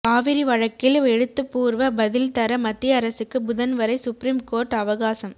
காவிரி வழக்கில் எழுத்துப்பூர்வ பதில் தர மத்திய அரசுக்கு புதன் வரை சுப்ரீம் கோர்ட் அவகாசம்